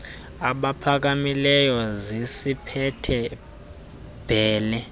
abaphakamileyo zisiphethe bhele